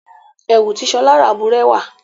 Ẹ̀wù tí Ṣọá rà bùrẹ́wà.